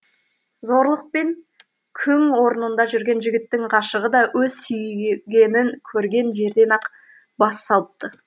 зорлықпен күң орнында жүрген жігіттің ғашығы да өз сүйгенін көрген жерден ақ бас салыпты